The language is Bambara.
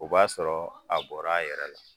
O b'a sɔrɔ a bɔra a yɛrɛ la